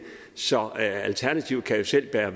så alternativet kan jo selv bære